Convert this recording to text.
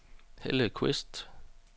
Helle Qvist